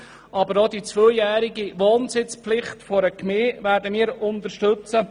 Aber auch die zweijährige Wohnsitzpflicht in einer Gemeinde werden wir unterstützen.